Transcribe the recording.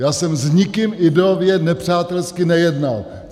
Já jsem s nikým ideově nepřátelsky nejednal.